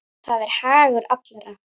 Það er hagur allra.